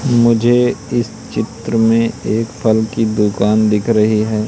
मुझे इस चित्र में एक फल की दुकान दिख रही है।